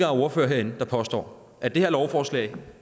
ordførere herinde der påstår at det her lovforslag